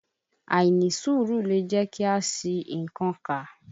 Àìnísùúrù lẹ̀ jẹ́kí a ṣi nnkan kà.